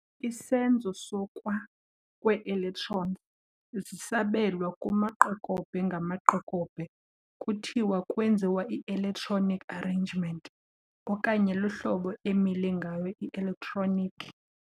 Isenzo sokwakwee-electrons zisabelwa kumaqokobhe-ngamaqokobhe kuthiwa kwenziwa i-electronic arrangement okanye luhlobo emile ngayo i-electronic.